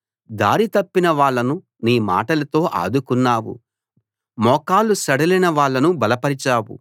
దారి తప్పిన వాళ్ళను నీ మాటలతో ఆదుకున్నావు మోకాళ్లు సడలిన వాళ్ళను బలపరిచావు